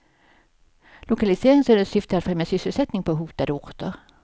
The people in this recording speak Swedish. Lokaliseringsstödets syfte är att främja sysselsättning på hotade orter.